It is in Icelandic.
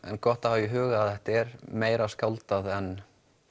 en gott að hafa í huga að þetta er meira skáldað en